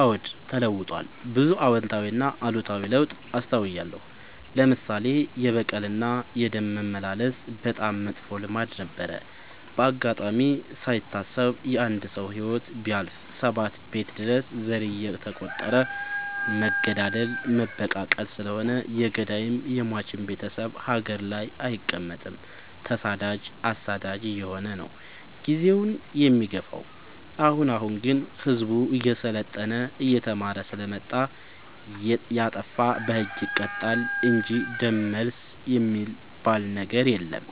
አዎድ ተለውጧል ብዙ አዎታዊ እና አሉታዊ ለውጥ አስታውያለሁ። ለምሳሌ፦ የበቀል እና የደም መመላለስ በጣም መጥፎ ልማድ ነበረ። በአጋጣሚ ካይታሰብ የአንድ ሰው ህይወት ቢያልፍ ሰባት ቤት ድረስ ዘር እየተ ቆጠረ መገዳደል መበቃቀል ስለሆነ የገዳይም የሞችም ቤቴሰብ ሀገር ላይ አይቀ መጥም ተሰዳጅ አሳዳጅ አየሆነ ነው። ጊዜውን የሚገፋው። አሁን አሁን ግን ህዝቡ እየሰለጠና እየተማረ ስለመጣ። የጣፋ በህግ ይቀጣል እንጂ ደም መልስ የሚበል ነገር የለም